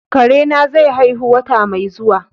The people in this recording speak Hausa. Kare na zai haihu wata mai zuwa.